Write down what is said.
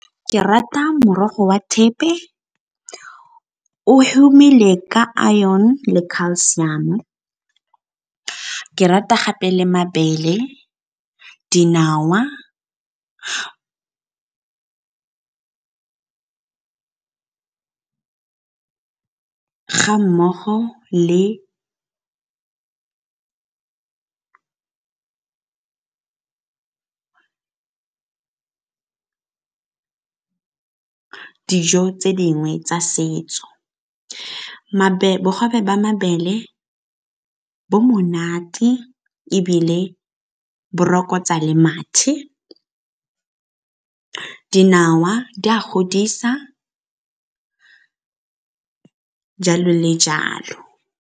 Ke rata morogo wa thepe, o humile ka a iron le calcium-o, ke rata gape le mabele dinawa ga mmogo le dijo tse dingwe tsa setso. Bogobe ba mabele bo monate, ebile borokotsa le mathe dinawa di a godisa, jalo le jalo.